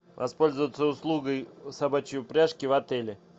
воспользоваться услугой собачьей упряжки в отеле